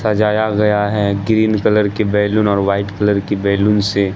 सजाया गया है ग्रीन कलर के बैलून और वाइट कलर की बैलून से।